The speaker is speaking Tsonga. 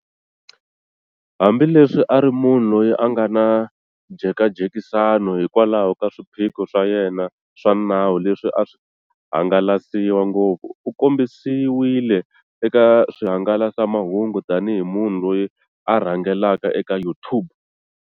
Hambi leswi a ri munhu loyi a nga na njhekanjhekisano hikwalaho ka swiphiqo swa yena swa nawu leswi a swi hangalasiwa ngopfu, u kombisiwile eka swihangalasamahungu tani hi munhu loyi a rhangelaka eka YouTube.